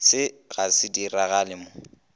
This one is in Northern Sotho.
se ga se diragale mo